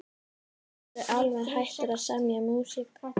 Ertu alveg hættur að semja músík?